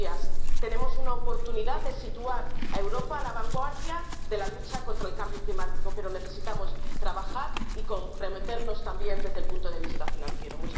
Señorías, tenemos la oportunidad de situar a Europa en la vanguardia de la lucha contra el cambio climático, pero necesitamos trabajar y comprometernos también desde el punto de vista financiero.